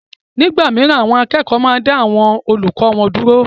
Nígbà mìíràn àwọn akẹ́kọ̀ọ́ máa ń dá àwọn olùkọ́ wọn dúró